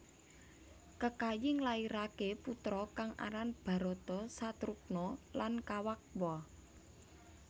Kekayi nglairaké putra kang aran Bharata Satrugna dan Kawakwa